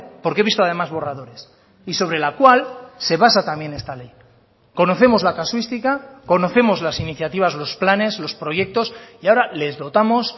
porque he visto además borradores y sobre la cual se basa también esta ley conocemos la casuística conocemos las iniciativas los planes los proyectos y ahora les dotamos